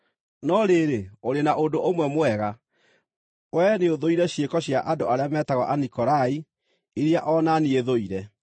No rĩrĩ, ũrĩ na ũndũ ũmwe mwega: Wee nĩũthũire ciĩko cia andũ arĩa metagwo Anikolai, iria o na niĩ thũire.